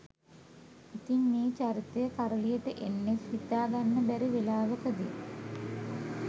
ඉතිං මේ චරිතය කරලියට එන්නෙත් හිතාගන්න බැරි වෙලාවකදි